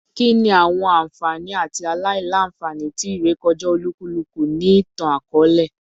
Kini awọn anfani ati aila-nfani ti irekọja olukuluku ni itan-akọọlẹ?